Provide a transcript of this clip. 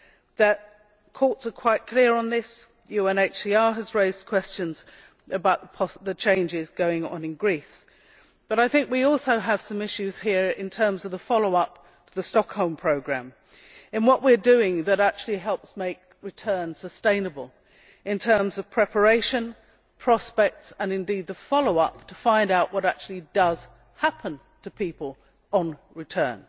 The courts are clear on this, UNHCR has raised questions about the changes going on in Greece, but I think we also have some issues here in terms of the follow up to the Stockholm Programme, in what we are doing that actually helps make returns sustainable in terms of preparation, prospects and indeed follow up, to find out what actually does happen to people on return.